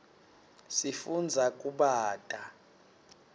sifundza kubata